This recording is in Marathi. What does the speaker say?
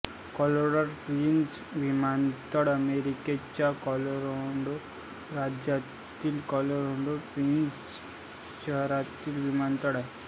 कॉलोराडो स्प्रिंग्ज विमानतळ अमेरिकेच्या कॉलोराडो राज्यातील कॉलोराडो स्प्रिंग्ज शहरातील विमानतळ आहे